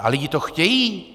A lidi to chtějí.